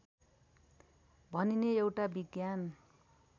भनिने एउटा विज्ञान